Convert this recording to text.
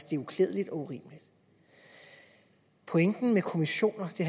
det er uklædeligt og urimeligt pointen med kommissioner det